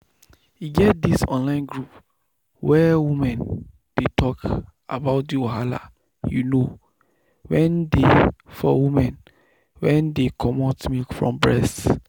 e get this online group where women dey talk about the wahala you know wen dey for women wen dey comot milk from breast.